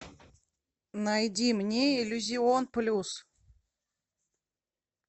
найди мне иллюзион плюс